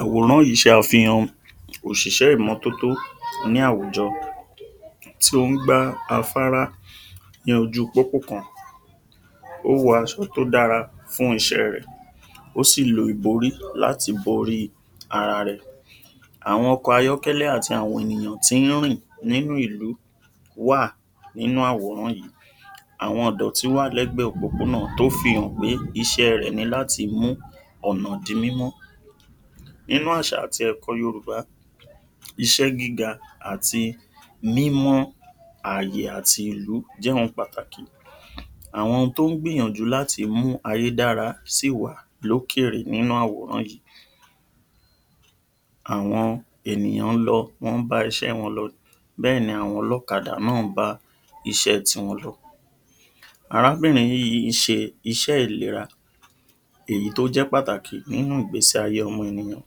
Àwòrán yìí ṣàfihàn òṣìṣẹ́ ìmọ́-tótó ní àwùjọ tí ón gbá afárá ní ojúu pópó kan ó wọ aṣọ tó dára fún iṣẹ́ẹ rẹ̀ ó sì lo ìborí láti boríi ara rẹ̀ Àwọn ọkọ̀ ayọ́kẹ́lẹ́ àti àwọn ènìyàn tín rìn nínú ìlú wà nínú àwòrán yìí àwọn ìdọ̀tí wà lẹ́gbẹ òpópónà tó fihàn pé iṣẹ́ẹ rẹ̀ ni láti mú ọ̀nà di mímọ́ Nínú àṣà àti ẹ̀kọ́ọ Yorùbá iṣẹ́ gíga àti mímọ́ ààyè àti ìlú jẹ́ ohun pàtàkì àwọn tón gbìyànjú láti mu ayé dára sí wà lókèèrè nínú àwòrán yìí Àwọn ènìyàn ń lọ wọ́n bá iṣẹ́ wọn lọ bẹ́ẹ̀ ni àwọn ọlọ́kadà náà ń bá iṣẹ́ ti wọn lọ. Arábìnrin yìí ń ṣe iṣẹ́ ìlera èyí tó jẹ́ pàtàkì nínú ìgbésí ayé ọmọ ènìyàn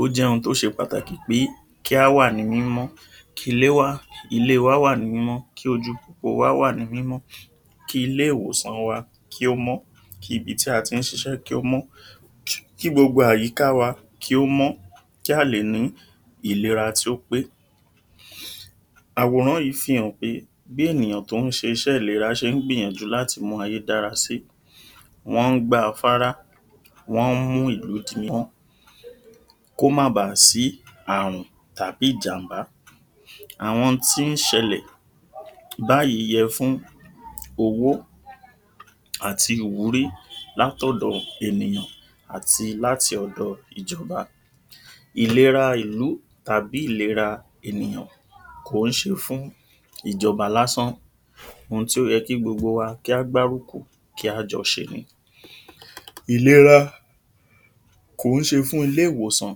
ó jẹ́ ohun tó ṣe pàtàkì pé kí á wà ní mímọ́ kí ilé wá kí ilée wa wà ní mímọ́ kí ojúu pópóo wa wá nì mímọ́ kí ilé-ìwòsan wa kí ó mọ́ kí ibití a tín ṣiṣẹ́ kí ó mọ́ kí gbogbo àyíkáa wa kí ó mọ́ kí a lè ní ìlera tí ó pé Àwòrán yìí fihàn pé bí ènìyàn tó ń s̀e iṣẹ́ ìlera ṣe ń gbìyànjú láti mu ayé dára sí wọ́n ń gbá afárá wọ́n ń mú ìlú di mọ́ kó má ba à sí àrùn tàbí ìjànbá àwọn tín ṣẹlẹ̀ báyìí yẹ fún owó àti ìwúrí látòdo ènìyàn àti láti ọ̀dọ ìjọba Ìlera ìlú tàbí ìlera ènìyàn kò ń ṣe fún ìjọba lásán ohun tí ó yẹ kí gbogbo wá kí á gbárùkù kí a jọ ṣe ni Ìlera kò ń ṣe fún ilé-ìwọ̀sàn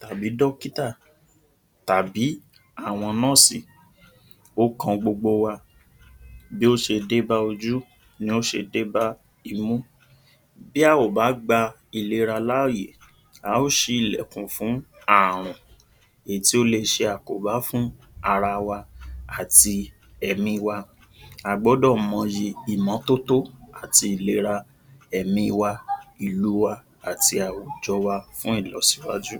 tàbí dọ́kítà tàbí àwọn nọ́ọ̀sì, ó kan gbogbo wa Bí ó ṣe débá ojú ni ó ṣe débá imú bí a ò bá gba ìlera láàyè a ó ṣí ilẹ̀kùn fún àrùn èyí tí ó le ṣe àkóbá fún ara wa àti ẹ̀míi wa a gbọ́dọ̀ mọ yìi ìmọ́-tótó ati ìlera èmíi wa ìlu wa àti àwùjọ wa fún ìlọsíwájú